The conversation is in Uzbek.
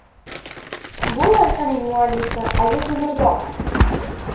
Bu loyihaning muallifi Aziz Umurzoqov.